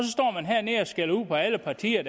skælder alle partier